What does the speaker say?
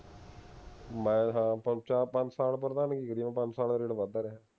ਮੈਂ ਹਾਂ ਤਿੰਨ ਚਾਰ ਪੰਜ ਸਾਲ ਪ੍ਰਧਾਨੀ ਪੰਜ ਸਾਲ ਰੇਟ ਵਧਦਾ ਰਿਹਾ